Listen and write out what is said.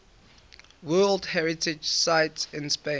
world heritage sites in spain